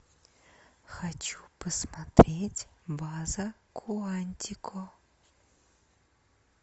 хочу посмотреть база куантико